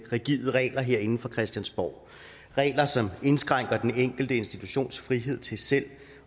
rigide regler herinde fra christiansborg regler som indskrænker den enkelte institutions frihed til selv